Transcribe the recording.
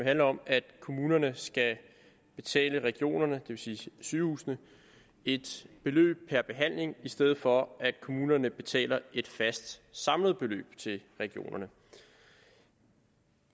handler om at kommunerne skal betale regionerne vil sige sygehusene et beløb per behandling i stedet for at kommunerne betaler et fast samlet beløb til regionerne